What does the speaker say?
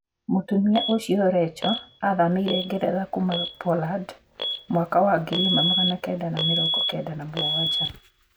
Mũtumia ũcio reco athamĩire Ngeretha kuuma Poland mwaka wa 1997.